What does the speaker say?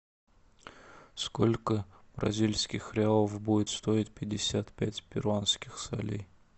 сколько бразильских реалов будет стоить пятьдесят пять перуанских солей